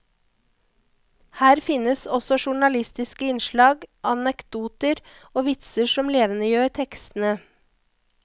Her finnes også journalistiske innslag, anekdoter og vitser som levendegjør tekstene.